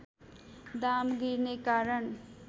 दाम गिर्ने कारण